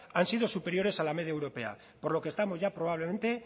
han sido superiores a la media europea por lo que estamos ya probablemente